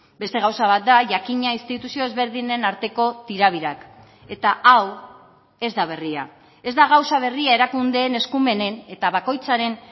beste gauza bat da jakina instituzio ezberdinen arteko tira birak eta hau ez da berria ez da gauza berria erakundeen eskumenen eta bakoitzaren